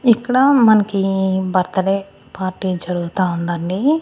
ఇక్కడ మనకి birthday party జరుగుతా ఉందండి.